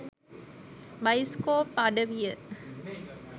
bioscope අඩවිය